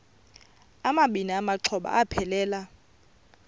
amabini exhobe aphelela